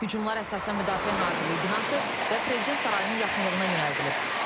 Hücumlar əsasən Müdafiə Nazirliyi binası və Prezident sarayının yaxınlığına yönəldilib.